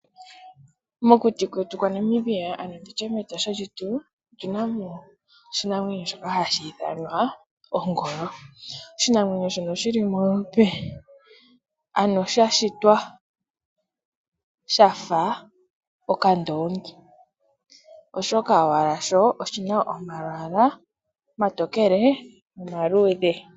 Mokuti kwetu kwa Namibia nenge nditye mEtosha lyetu omuna oshinamwenyo shoka hashi ithanwa ongolo shono sha shitwa shafa okandoongi oshoka owala sho oshina omalwaala omatokele nomaluudhe.